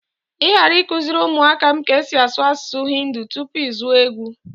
Ị ghari ịkuziri ụmụ áká m ka esi asụ asụsụ Hindi tupu izu a agwụ!